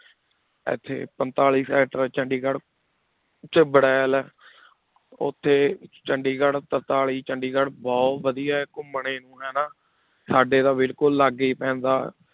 ਇੱਥੇ ਪੰਤਾਲੀ sector ਚੰਡੀਗੜ੍ਹ ਵਿੱਚ ਬੁੜੈਲ ਹੈ ਉੱਥੇ ਚੰਡੀਗੜ੍ਹ ਤਰਤਾਲੀ ਚੰਡੀਗੜ੍ਹ ਬਹੁ ਵਧੀਆ ਹੈ ਘੁੰਮਣੇ ਨੂੰ ਹਨਾ, ਸਾਡੇ ਤਾਂ ਬਿਲਕੁਲ ਲਾਗੇ ਹੀ ਪੈਂਦਾ